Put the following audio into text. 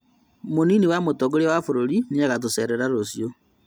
Mũnini wa mũtongoria wa bũrũri niagatũcerera rũciũ